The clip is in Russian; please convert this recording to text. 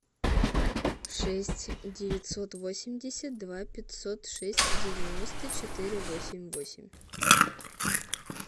шесть девятьсот восемьдесят два пятьсот шесть девяносто четыре восемь восемь